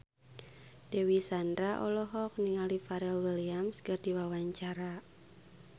Dewi Sandra olohok ningali Pharrell Williams keur diwawancara